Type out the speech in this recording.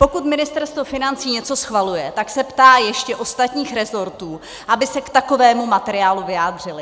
Pokud Ministerstvo financí něco schvaluje, tak se ptá ještě ostatních resortů, aby se k takovému materiálu vyjádřily.